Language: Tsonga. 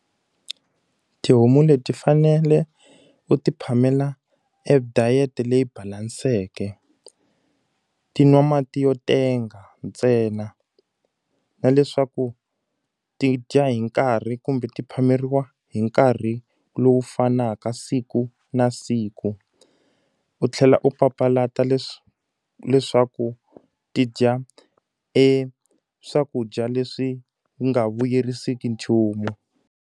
Tihomu leti fanele u ti phamela e diet-e leyi balanseke. Ti nwa mati yo tenga ntsena. Na leswaku ti dya hi nkarhi kumbe ti phameriwa hi nkarhi lowu fanaka siku na siku. U tlhela u papalata leswaku ti dya e swakudya leswi nga vuyerisiki nchumu.